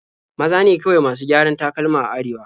Maza ne kawai masu gyaran takalma a Arewa.